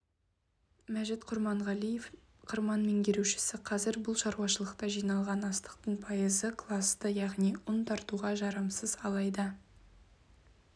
мәжит құрманғалиев қырман менгерушісі қазір бұл шаруашылықта жиналған астықтың пайызы класты яғни ұн тартуға жарамсыз алайда